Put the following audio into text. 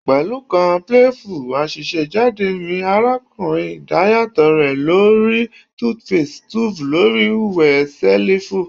Pẹlu kan playful asesejade mi arakunrin idayatọ rẹ lo ri toothpaste tube lori wẹ selifu